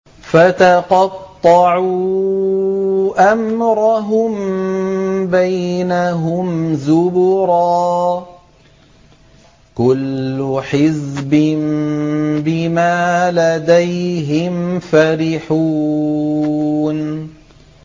فَتَقَطَّعُوا أَمْرَهُم بَيْنَهُمْ زُبُرًا ۖ كُلُّ حِزْبٍ بِمَا لَدَيْهِمْ فَرِحُونَ